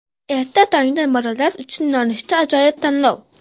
Erta tongdan bolalar uchun nonushtaga ajoyib tanlov.